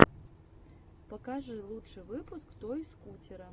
покажи лучший выпуск той скутера